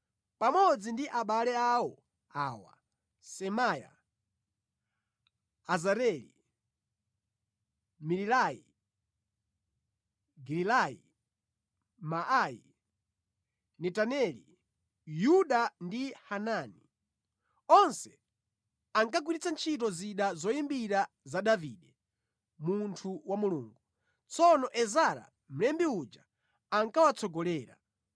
pamodzi ndi abale awo awa: Semaya, Azareli, Milalai, Gilalayi, Maayi, Netaneli, Yuda ndi Hanani. Onse ankagwiritsa ntchito zida zoyimbira za Davide, munthu wa Mulungu. Tsono Ezara mlembi uja ankawatsogolera.